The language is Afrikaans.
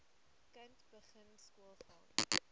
kind begin skoolgaan